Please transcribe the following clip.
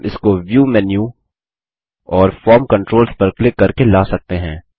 हम इसको view menu और फॉर्म कंट्रोल्स पर क्लिक करके ला सकते हैं